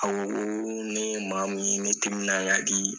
A ko ko ne ye maa mu ye, ne timinan ka di